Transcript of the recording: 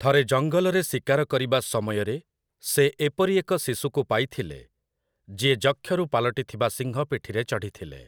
ଥରେ ଜଙ୍ଗଲରେ ଶିକାର କରିବା ସମୟରେ, ସେ ଏପରି ଏକ ଶିଶୁକୁ ପାଇଥିଲେ, ଯିଏ ଯକ୍ଷରୁ ପାଲଟିଥିବା ସିଂହ ପିଠିରେ ଚଢ଼ିଥିଲେ ।